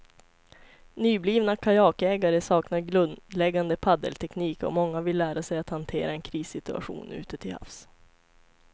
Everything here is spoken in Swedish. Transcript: Nyblivna kajakägare saknar grundläggande paddelteknik och många vill lära sig att hantera en krissituation ute till havs.